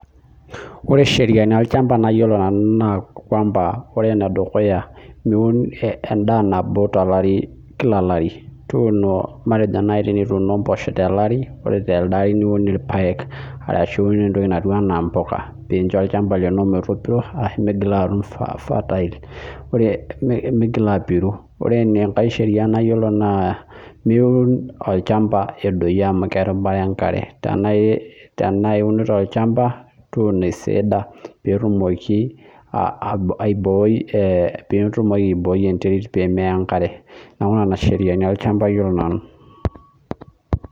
Ore sheriani olchamba nayiolo nanu naa ore enedukuya naa miun endaa nabo kila olari matejo naaji tenituno mboshok tele ari ore telde niun irpaek arashu entoki naijio mbuka pee enjoy olchamba lino metopiro ashu menyakii atum fertile ore migila apiru ore enkae nimiun olchamba edoyio amu kerubare enkare tenaa eunoto olchamba tuno eisidaa pee etumoki aiboi enterit pee meya enkare neeku nena sheriani olchamba ayiolou nanu